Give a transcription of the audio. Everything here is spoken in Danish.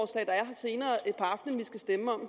senere på aftenen skal stemme om